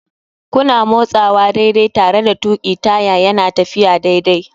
Kuna motsawa daidai tare da tuƙi taya yana tafiya daidai.